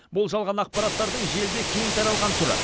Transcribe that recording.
бұл жалған ақпараттардың желіде кең таралған түрі